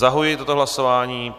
Zahajuji toto hlasování.